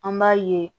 An b'a ye